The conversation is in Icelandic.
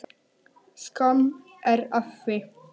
Skömm er að því.